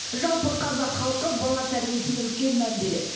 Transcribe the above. жалпы қазақ халқы бала тәрибесіне үлкен мән береді